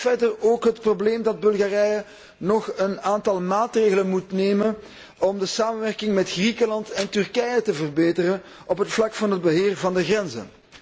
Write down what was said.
Er is verder ook het probleem dat Bulgarije nog een aantal maatregelen moet nemen om de samenwerking met Griekenland en Turkije te verbeteren op het vlak van het beheer van de grenzen.